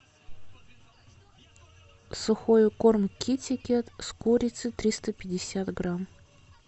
сухой корм китикет с курицей триста пятьдесят грамм